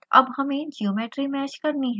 अब हमें geometry mesh करनी है